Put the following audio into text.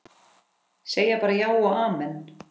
Segja bara já og amen.